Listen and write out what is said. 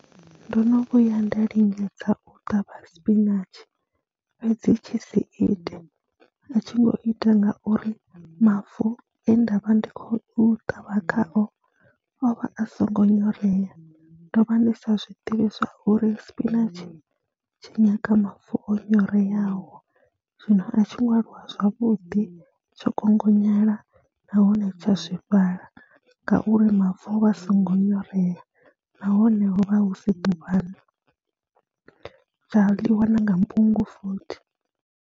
Ndo no vhuya nda lingedza u ṱavha sipinatshi fhedzi tshi si ite, a tshi ngo ita ngauri mavu e nda vha ndi khou ṱavha khao o vha a songo nyorea. Ndo vha ndi sa zwi ḓivhi zwa uri sipinatshi tshi nyanga mavu o nyoreaho, zwino a tshi ngo aluwa zwavhuḓi, tsho kongonyala nahone tsha swifhala ngauri mavu o vha a songo nyorea nahone ho vha hu si ḓuvhani, tsha ḽiwa na nga mbungu futhi.